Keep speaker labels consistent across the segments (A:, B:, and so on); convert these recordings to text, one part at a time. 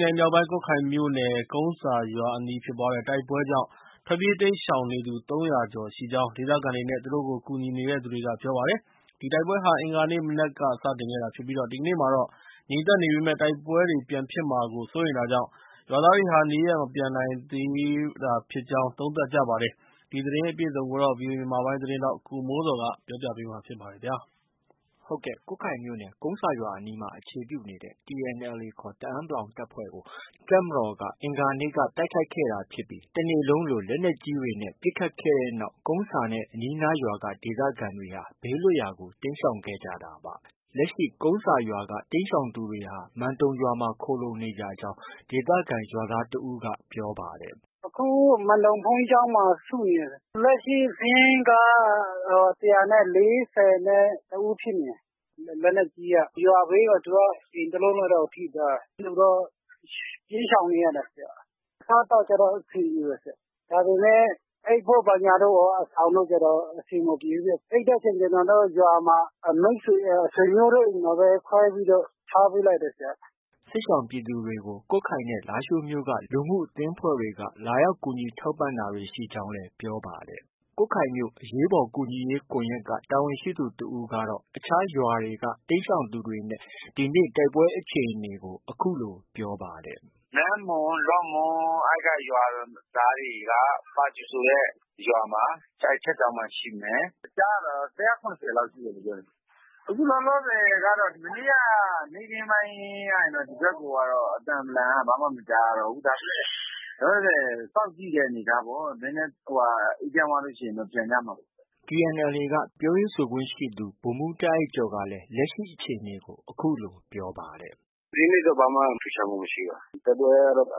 A: နယ်မြောက်ပိုင်း ကွတ်ခိုင်မြို့နယ် ကုန်းဆာရွာအနီးဖြစ်ပွားတဲ့ တိုက်ပွဲကြောင့် ထွက်ပြေး တိမ်းရှောင်နေသူ ၃၀၀ကျော်ရှိကြောင်း ဒေသခံတွေနဲ့ သူတို့ကို ကူညီနေသူတွေက ပြောပါတယ်။ ဒီတိုက်ပွဲဟာ အင်္ဂါနေ့မနက်က စတင်ခဲ့တာဖြစ်ပြီး ဒီကနေ့မှာတော့ ငြိမ်သက်နေပေမဲ့တိုက်ပွဲတွေ ပြန်ဖြစ်မှာကို စိုးရိမ် တာကြောင့် ရွာသားတွေ နေရပ်မပြန်နိုင်သေးတာဖြစ်ကြောင်း သုံးသပ်ကြပါတယ်။ ဒီသတင်းကိုတော့ ဗွီအိုအေမြန်မာပိုင်းရဲ့သတင်းထောက် ကိုမိုးဇော်က တင်ပြထားပါတယ်။
B: ကွတ်ခိုင်မြို့နယ် ကုန်းဆာရွာအနီးမှာ အခြေပြုထားတဲ့ TNLA တအန်း(ပလောင်) တပ်ဖွဲ့ကို တပ်မတော်က တိုက်ခိုက်ခဲ့တာဖြစ်ပြီး တစ်နေ့လုံးလို လက်နက်ကြီးတွေနဲ့ ပစ်ခတ်ခဲ့တဲ့နောက် ကုန်းဆာနဲ့ အနီးအနားရွာက ဒေသခံတွေဟာ ဘေးလွတ်ရာကို တိမ်းရှောင်ခဲ့ကြတာပါ။ လက်ရှိကုန်းဆာရွာက တိမ်းရှောင်သူတွေဟာ မန်တုံရွာမှာ ခိုလှုံနေကြောင်း ဒေသခံရွာသားတစ်ဦးက ပြောပါတယ်။
C: “ အခု မန်တုံဘုန်းကြီးကျောင်းမှာ စုနေတယ်။ လက်ရှိ စာရင်းက ၁၄၁ဦးဖြစ်နေတယ်။ လက်နက်ကြီးက ရွာဘေးက အိမ်တစ်လုံးလောက်တော့ ထိသွားတာ။ အဲလိုကြောင့် ပြေးရှောင်နေရတာ။ အစားအသောက်တော့ အဆင်ပြေတယ်။ ဒါပေမဲ့ အိပ်ဖို့ဘာညာ အဆောင်တို့ကျတော့ အဆင်မပြေဘူး။ အိပ်တဲ့အချိန် ကျနော်တို့ ရွာမှာ မိတ်ဆွေ၊ ဆွေမျိုးတို့အိမ်မှာပဲ ခွဲပြီးတော့ ထားပေးလိုက်တယ်ဆရာ။
B: ” စစ်ရှောင်ပြည်သူတွေကို ကွတ်ခိုင်နဲ့ လားရှိုးမြို့က လူမှုရေးအသင်းအဖွဲ့တွေကနေ လာရောက် ကူညီထောက်ပံ့ တာတွေ ရှိကြောင်း ပြောပါတယ်။ ကွတ်ခိုင်အရေးပေါ်ကူညီရေး ကွန်ရက်က တာဝန်ရှိသူ တစ်ဦးကတော့ အခြားရွာတွေမှာလည်း တိမ်းရှောင်သူတွေ နဲ့ တိုက်ပွဲအခြေအနေကို အခုလို ပြောပါတယ်
D: ။ “ နမ့်မွန်၊ လော့မွန် အဲဒီက ရွာသားတွေက ပါဂျူရွာဆိုတဲ့ ရွာမှာ Church ကျောင်းမှာ ရှိမယ်။ ကြားရတာတော့ ၁၇၀ လောက်ရှိမယ်လို့ ပြောတယ်။ အခုလောလောဆည်ကတော့ မနေ့က နေ့ခင်းပိုင်းက ဒီဘက်ကိုကတော့ အသံဗလံကတော့ ဘာမှ မကြားရတော့ဘူး။ ဒါပေမဲ့ လောလောဆည် စောင့်ကြည့်တဲ့ အနေအထားပေါ့။ နည်းနည်း အေးချမ်းသွားရင်တော့ ပြန်ကြမှာပေါ့
B: ။” TNLA က ပြောရေးဆိုခွင့်ရှိသူ ဗိုလ်မှူးတာအိုက်ကျော်ကလည်း လက်ရှိအခြေအနေကို အခုလို
D: ပြောပါတယ်။ “ ဒီနေ့တော့ ဘာမှ ထူးခြားမှုမရှိဘူး။ တိုက်ပွဲကတော့ တ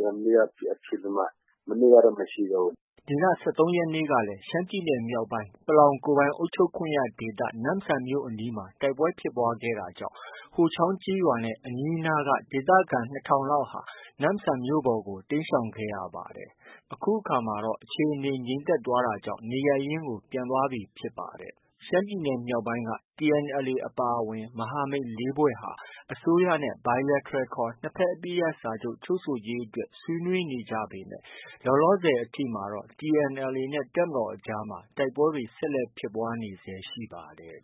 D: မြန်မနေ့က ဖြစ်ပြီးတော့မှ မနေ့ကတော့ မရှိတော့ဘူး။
B: ” ဒီလ ၁၃ရက်နေ့ကလည်း ရှမ်းပြည်နယ်မြောက်ပိုင်း ပလောင်ကိုယ်ပိုင်အုပ်ချုပ်ခွင့်ရဒေသ နမ့်ဆန်မြို့အနီးမှာ တိုက်ပွဲဖြစ်ပွားခဲ့တာကြောင့် ဟိုချောင်းကျေးရွာနဲ့ အနီးအနားက ဒေသခံ ၂ထောင်လောက် နမ့်ဆန်မြို့ပေါ်ကို တိမ်းရှောင်ခဲ့ရပါတယ်။ အခုအခါမှာတော့ အခြေအနေက ငြိမ်သက်သွားတာကြောင့် နေရပ်ရင်း ပြန်သွားပြီဖြစ်ပါတယ်။ ရှမ်းပြည်နယ်မြောက်ပိုင်းမှာ TNLA အပါအဝင် မဟာမိတ် ၄ဖွဲ့ဟာ အစိုးရနဲ့ Bilateral ခေါ် နှစ်ဖက် အပစ်ရပ်စာချုပ် ချုပ်ဆိုရေးအတွက် ဆွေးနွေးနေကြပေမဲ့ လောလောဆည်အထိတော့ TNLA နဲ့ တပ်မတော်အကြားမှာ တိုက်ပွဲတွေ ဆက်လက်ဖြစ်ပွားနေဆဲ ရှိပါတယ်